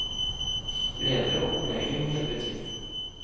Ledere og kolleger må hjelpe til.